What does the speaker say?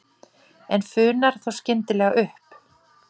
En funar þá skyndilega upp.